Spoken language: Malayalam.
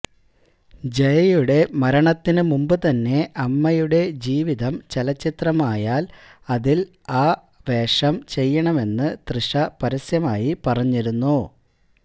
ജയയുടെ മരണത്തിനു മുമ്പ് തന്നെ അമ്മയുടെ ജീവിതം ചലച്ചിത്രമായാല് അതില് ആ വേഷം ചെയ്യണമെന്നു തൃഷ പരസ്യമായി പറഞ്ഞിരുന്നു